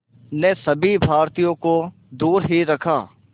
ने सभी भारतीयों को दूर ही रखा